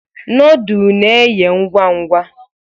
Nọọdụ na-eye ngwa ngwa.